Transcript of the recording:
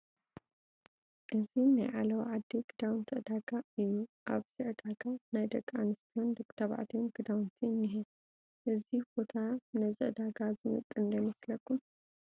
እዚ ናይ ዓለባ ዓዲ ክዳውንቲ ዕዳጋ እዩ፡፡ ኣብዚ ዕዳጋ ናይ ደቂ ኣንስትዮን ደቂ ተባዕትዮን ክዳውንቲ እኒሀ፡፡ እዚ ቦታ ነዚ ዕዳጋ ዝምጥን ዶ ይመስል?